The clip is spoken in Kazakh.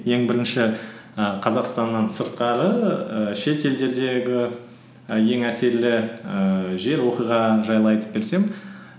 ең бірінші і қазақстаннан сырттағы і шетелдердегі і ең әсерлі ііі жер оқиға жайлы айтып берсем